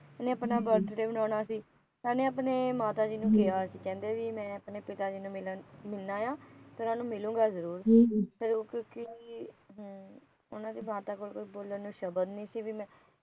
ਇਹਨੇ ਆਪਣਾ ਬਰਥਡੇ ਮਨਾਉਣਾ ਸੀ ਇਹਨੇ ਆਪਣੇ ਮਾਤਾ ਜੀ ਨੂੰ ਕਿਹਾ ਸੀ ਕਹਿੰਦੇ ਕੀ ਮੈ ਆਪਣੇ ਪਿਤਾ ਜੀ ਨੂੰ ਮਿਲਣ ਆ ਤੇ ਉਹਨਾ ਨੂੰ ਮਿਲੂਗਾ ਜਰੂਰ ਫਿਰ ਉਹ ਕਿਉਕਿ ਉਹਨਾ ਦੀ ਮਾਤਾ ਕੋਲ ਬੋਲਣ ਨੂੰ ਸ਼ਬਦ ਨਹੀ ਸੀ ਮੈਂ